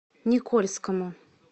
никольскому